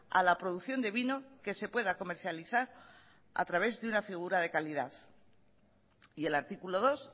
a la producción de vino que se pueda comercializar a través de una figura de calidad y el artículo dos